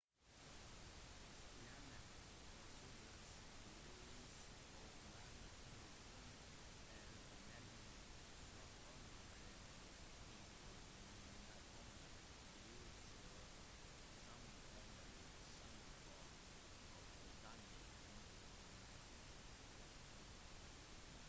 stjerner produserer lys og varme på grunn av energien som kommer fra at hydrogenatomer blir slått sammen eller sammenføyd for å danne tyngre elementer